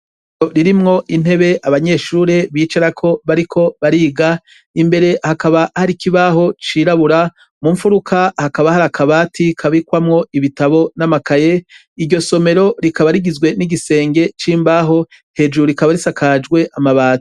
Isomero ririmwo intebe abanyeshure bicarako bariko bariga imbere hakaba Hari ikibaho cirabura mu nfuruka hakaba Hari akabati kabikwamwo ibitabo n'amakaye iryo somero rikaba rigizwe n'ugisenge c'imbaho hejuru rikaba risakajwe amabati.